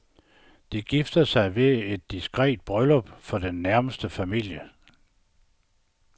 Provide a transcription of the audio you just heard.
De gifter sig ved et diskret bryllup for den nærmeste familie.